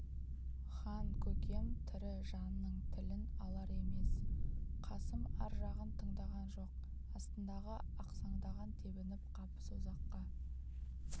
хан-көкем тірі жанның тілін алар емес қасым ар жағын тыңдаған жоқ астындағы ақсаңдағын тебініп қап созаққа